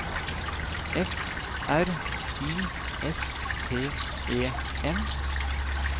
F R I S T E N